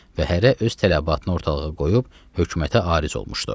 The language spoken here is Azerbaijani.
Və hərə öz tələbatını ortalığa qoyub hökumətə Ariz olmuşdu.